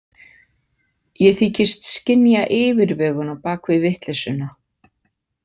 Ég þykist skynja yfirvegun á bak við vitleysuna.